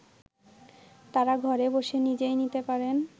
তারা ঘরে বসে নিজেই নিতে পারেন